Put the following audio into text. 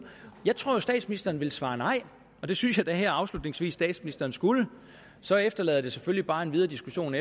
jeg tror jo at statsministeren vil svare nej og det synes jeg da her afslutningsvis at statsministeren skulle så efterlader det selvfølgelig bare en videre diskussion